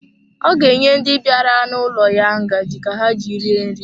Ọ ga-enye ndi bịara n'ụlọ ya ngaji ka ha ji rie nri.